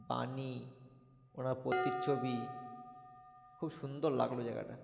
বাণী ওনার প্রতিচ্ছবি খুব সুন্দর লাগলো জায়গাটা।